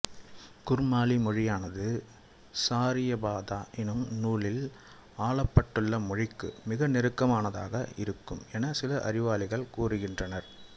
குர்மாலி மொழியானது சாரியபாதா என்னும் நூலில் ஆலப்பட்டுள்ள மொழிக்கு மிக நெருக்கமானதாக இருக்கும் என்று சில அறிவாளிகள் கருதுகின்றனர்